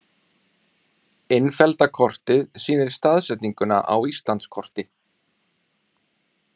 Innfellda kortið sýnir staðsetninguna á Íslandskorti.